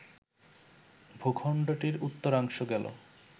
ভূখণ্ডটির উত্তরাংশ গেল